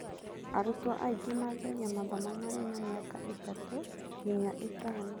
Arutwo aingĩ manjagia mathomo marĩ na mĩaka ĩtatũ nginya ĩtano.